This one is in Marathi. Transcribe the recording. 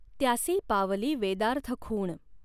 त्यासी पावली वेदार्थखूण।